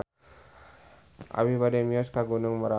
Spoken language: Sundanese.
Abi bade mios ka Gunung Merapi